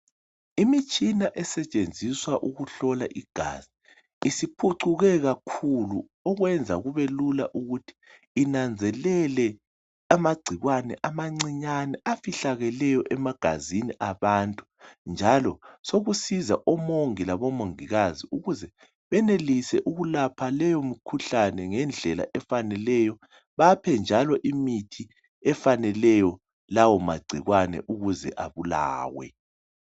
Imitshina esetshenziswa ukuhlola igazi isiphucuke kakhulu okwenza kube lula ukuthi inanzelele amagcikwane amancinyane afihlekeleyo emagazini abantu njalo sokusiza omongi labomongikazi ukuze benelise ukulapha leyo mikhuhlane ngendlela efaneleyo, baphe njalo imithi efaneleyo kulawo magcikwane ukuze abulawe.